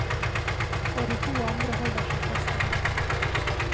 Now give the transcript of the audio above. Og de to andre holder seg fast i ham.